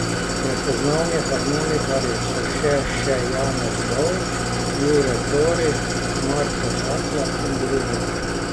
Prepoznavni harmonikarji so še še Janez Dovč, Jure Tori, Marko Hatlak in drugi.